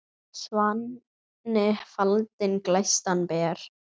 Svanni faldinn glæstan ber.